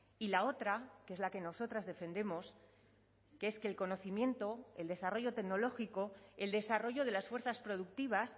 y la otra que es la que nosotras defendemos que es que el conocimiento el desarrollo tecnológico el desarrollo de las fuerzas productivas